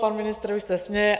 Pan ministr už se směje.